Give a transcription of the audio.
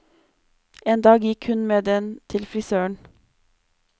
En dag gikk hun med den til frisøren.